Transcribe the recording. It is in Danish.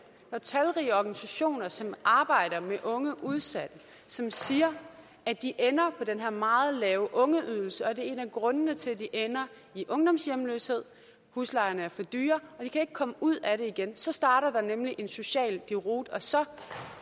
er talrige organisationer som arbejder med unge udsatte som siger at de ender på den her meget lave ungeydelse og at det er en af grundene til at de ender i ungdomshjemløshed huslejerne er for dyre og de kan ikke komme ud af det igen så starter der nemlig en social deroute og så